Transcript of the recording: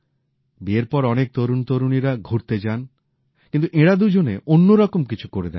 বিয়ের পর অনেক তরুণতরুণীরা ঘুরতে যান কিন্তু এঁরা দুজনে অন্যরকম কিছু করে দেখালেন